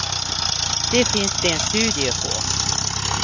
Det finns det en studie på.